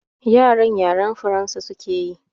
Yaran yaren Faransa suke yi